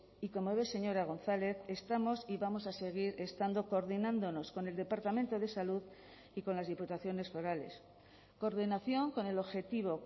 y como ve señora gonzález estamos y vamos a seguir estando coordinándonos con el departamento de salud y con las diputaciones forales coordinación con el objetivo